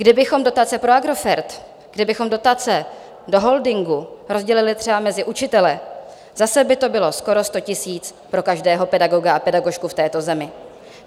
Kdybychom dotace pro Agrofert, kdybychom dotace do holdingu rozdělili třeba mezi učitele, zase by to bylo skoro 100 000 pro každého pedagoga a pedagožku v této zemi.